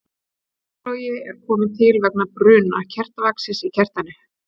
kertalogi er til kominn vegna bruna kertavaxins í kertinu